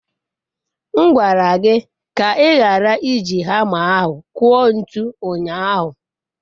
M gwara gị ka ị ghara iji hama ahụ kụọ ntu ụnyahụ.